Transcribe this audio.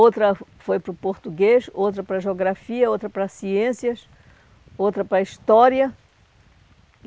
Outra fo foi para o português, outra para geografia, outra para ciências, outra para história.